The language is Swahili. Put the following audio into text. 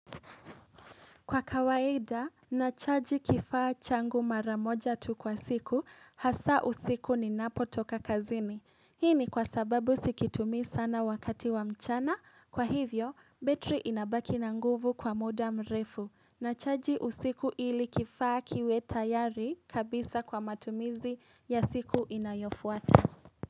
Kwa kawaida, nachaji kifaa changu maramoja tu kwa siku, hasa usiku ninapo toka kazini. Hii ni kwa sababu sikitumii sana wakati wa mchana, kwa hivyo, battery inabaki na nguvu kwa muda mrefu. Nachaji usiku ili kifaa kiwe tayari kabisa kwa matumizi ya siku inayofuata.